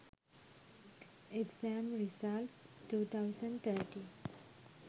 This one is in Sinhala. exam result 2013